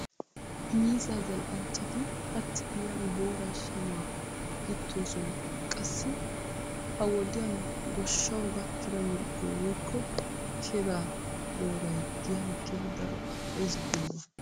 Miizzaa zal"anchchati hachchi giyan booraa shamaa gittoosona. Qassi ha wodiyan goshshawu gakkida mirggoy woykko keeda booray giyan keehi daro al"ees giyoogaa.